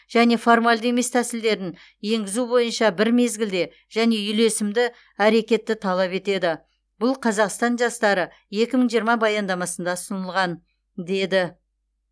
және формальды емес тәсілдерін енгізу бойынша бір мезгілде және үйлесімді әрекетті талап етеді бұл қазақстан жастары екі мың жиырма баяндамасында ұсынылған деді